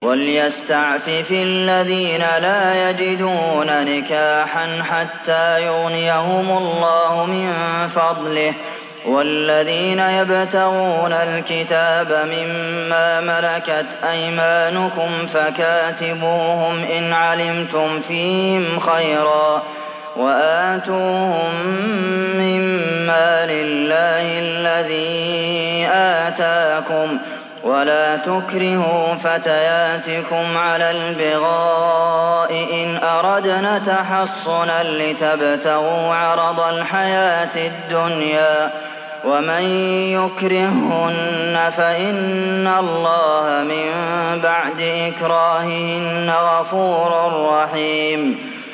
وَلْيَسْتَعْفِفِ الَّذِينَ لَا يَجِدُونَ نِكَاحًا حَتَّىٰ يُغْنِيَهُمُ اللَّهُ مِن فَضْلِهِ ۗ وَالَّذِينَ يَبْتَغُونَ الْكِتَابَ مِمَّا مَلَكَتْ أَيْمَانُكُمْ فَكَاتِبُوهُمْ إِنْ عَلِمْتُمْ فِيهِمْ خَيْرًا ۖ وَآتُوهُم مِّن مَّالِ اللَّهِ الَّذِي آتَاكُمْ ۚ وَلَا تُكْرِهُوا فَتَيَاتِكُمْ عَلَى الْبِغَاءِ إِنْ أَرَدْنَ تَحَصُّنًا لِّتَبْتَغُوا عَرَضَ الْحَيَاةِ الدُّنْيَا ۚ وَمَن يُكْرِههُّنَّ فَإِنَّ اللَّهَ مِن بَعْدِ إِكْرَاهِهِنَّ غَفُورٌ رَّحِيمٌ